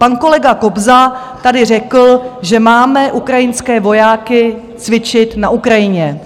Pan kolega Kobza tady řekl, že máme ukrajinské vojáky cvičit na Ukrajině.